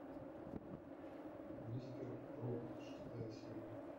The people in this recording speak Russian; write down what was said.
мистер робот шестая серия